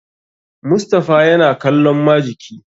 Mustapha yana kallon majiki.